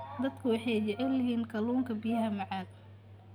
Dadku waxay jecel yihiin kalluunka biyaha macaan.